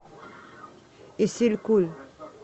исилькуль